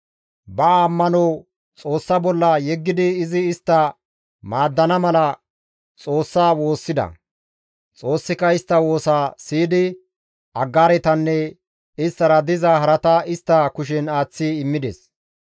Ba ammano Xoossa bolla yeggidi izi istta maaddana mala Xoossa woossida. Xoossika istta woosaa siyidi Aggaaretanne isttara diza harata istta kushen aaththi immides.